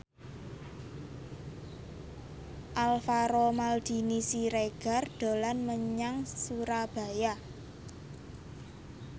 Alvaro Maldini Siregar dolan menyang Surabaya